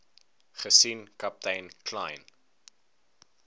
gesien kaptein kleyn